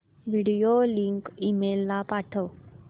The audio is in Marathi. व्हिडिओ लिंक ईमेल ला पाठव